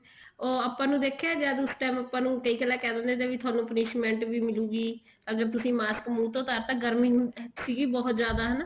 ਉਹ ਆਪਾਂ ਨੂੰ ਦੇਖਿਆ ਜਿਸ time ਆਪਾਂ ਨੂੰ ਦੇਖਲਾ ਕਹਿ ਦਿੰਦੇ ਤੇ ਥੋਨੂੰ punishment ਵੀ ਮਿਲੂਗੀ ਅਗਰ ਤੁਸੀਂ ਮਾਸਕ ਮੁੰਹ ਤੋਂ ਉਤਾਰ ਤਾ ਗਰਮੀ ਸੀਗੀ ਬਹੁਤ ਜਿਆਦਾ ਹਨਾ